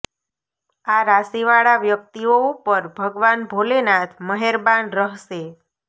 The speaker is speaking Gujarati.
આ રાશિ વાળા વ્યક્તિઓ ઉપર ભગવાન ભોલેનાથ મહેરબાન રહશે